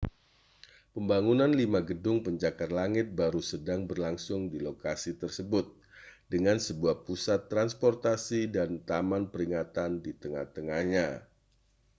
pembangunan lima gedung pencakar langit baru sedang berlangsung di lokasi tersebut dengan sebuah pusat transportasi dan taman peringatan di tengah-tengahnya